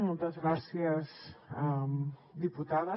moltes gràcies diputada